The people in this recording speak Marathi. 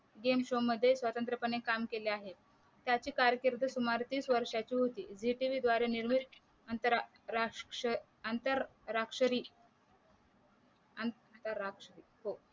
game show मध्ये स्वतंत्र पाने काम केले आहे त्याची कारकीर्द सुमारे तीस वर्ष्यांची होती झी तव द्वारे निर्मित अंतर राक्ष राक्षरी आंतराक्षरी